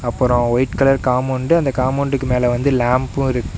அப்புறம் white colour compound அந்த காம்பவுண்டுக்கு மேல வந்து லேம்ப்பும் இருக்கு.